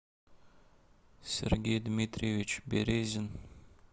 сергей дмитриевич березин